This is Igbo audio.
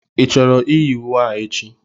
Ị chọrọ iyi uwe a echi?